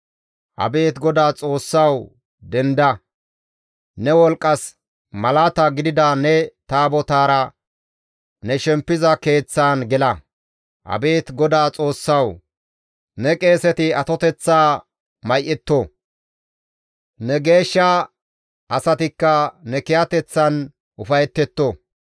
«Abeet GODAA Xoossawu! Denda! Ne wolqqas malaata gidida ne Taabotaara ne shempiza keeththaan gela. Abeet GODAA Xoossawu! Ne qeeseti atoteththaa may7etto; ne geeshsha asatikka ne kiyateththan ufayetetto.